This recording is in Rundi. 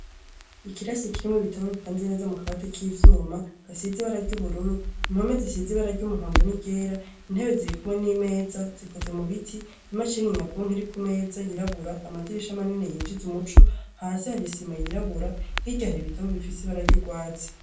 Ikirasi kirimwo bitabo bipanze neza mu kabati k'ivyuma gasizi ibararya ubururu impome zisizi bararya umuhondo n'igera intebe zirikumwe n'imeza zikoze mu biti imacini inyabunka iri ku meza yirabura amadirisha manene yinjize umuco hasi harisima yirabura hiryahari ibitabo bifise bararya urwatsi.